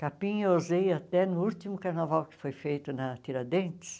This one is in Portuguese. Capim eu usei até no último carnaval que foi feito na Tiradentes.